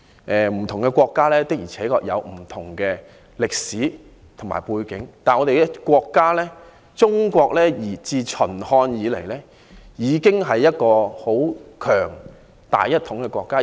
不同國家的確有不同的歷史和背景，但我們的國家中國自秦漢以來，已經是一個很強、大一統的國家。